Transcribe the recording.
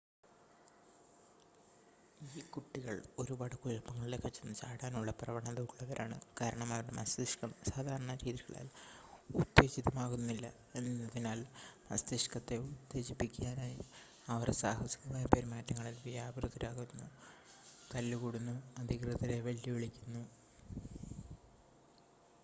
"ഈ കുട്ടികൾ ഒരുപാട് കുഴപ്പങ്ങളിലേക്ക് ചെന്ന് ചാടാനുള്ള പ്രവണത ഉള്ളവരാണ് കാരണം അവരുടെ മസ്തിഷ്കം സാധാരണ രീതികളാൽ ഉത്തേജിതമാകുകയില്ല എന്നതിനാൽ മസ്തിഷ്കത്തെ ഉത്തേജിപ്പിക്കാനായി അവർ "സാഹസികമായ പെരുമാറ്റങ്ങളിൽ വ്യാപൃതരാകുന്നു തല്ല്കൂടുന്നു അധികൃതരെ വെല്ലുവിളിക്കുന്നു""